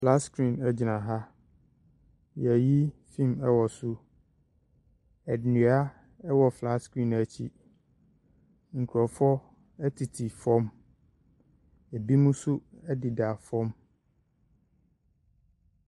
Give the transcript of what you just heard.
Flats creen gyina ha. Wɔreyi film wɔ so. Nnua wɔ flats creen no akyi. Nkurɔfoɔ tete fam. Binom nso deda fam.